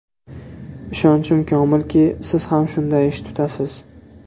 Ishonchim komilki, siz ham shunday ish tutasiz.